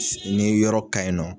Ni yɔrɔ ka ɲi nɔ